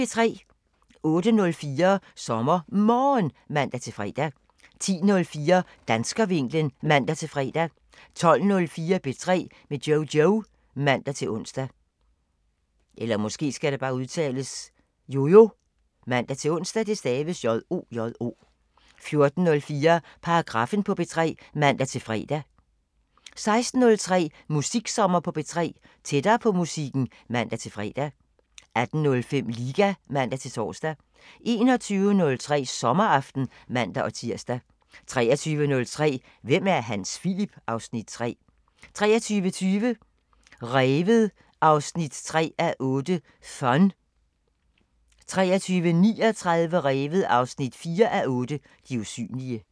08:04: SommerMorgen (man-fre) 10:04: Danskervinklen (man-fre) 12:04: P3 med Jojo (man-ons) 14:04: Paragraffen på P3 (man-fre) 16:03: Musiksommer på P3 – tættere på musikken (man-fre) 18:05: Liga (man-tor) 21:03: Sommeraften (man-tir) 23:03: Hvem er Hans Philip? (Afs. 3) 23:20: Revet 3:8 – Fun 23:39: Revet 4:8 – De usynlige